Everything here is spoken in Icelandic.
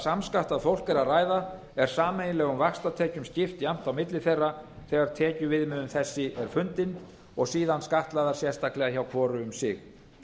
samskattað fólk er að ræða er sameiginlegum vaxtatekjum skipt jafnt á milli þeirra þegar tekjuviðmiðun þessi er fundin og síðan skattlagðar sérstaklega hjá hvoru um sig